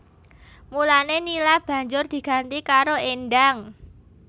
Mulané Nila banjur diganti karo Endang